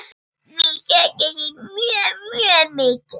Við söknum þín mjög mikið.